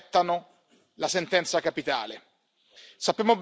Tanti aspettano la sentenza capitale.